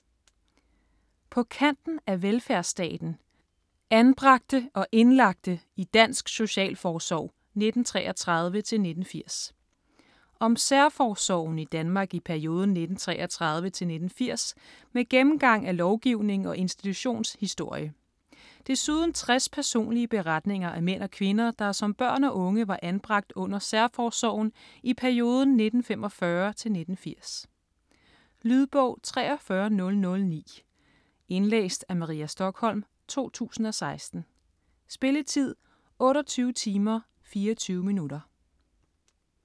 På kanten af velfærdsstaten: anbragte og indlagte i dansk socialforsorg 1933-1980 Om særforsorgen i Danmark i perioden 1933-1980 med gennemgang af lovgivning og institutionshistorie. Desuden 60 personlige beretninger af mænd og kvinder, der som børn og unge var anbragt under særforsorgen i perioden 1945-1980. Lydbog 43009 Indlæst af Maria Stokholm, 2016. Spilletid: 28 timer, 24 minutter.